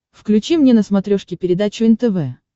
включи мне на смотрешке передачу нтв